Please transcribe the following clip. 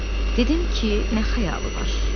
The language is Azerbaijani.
Dedim ki, nə xəyalı var.